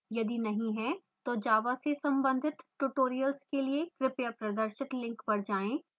यदि नहीं है तो java से संबंधित tutorials के लिए कृपया प्रदर्शित link पर जाएँ